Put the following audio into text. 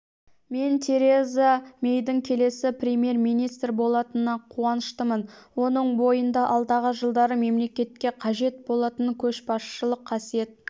мен тереза мэйдің келесі премьер-министр болатынына қуаныштымын оның бойында алдағы жылдары мемлекетке қажет болатын көшбасшылық қасиет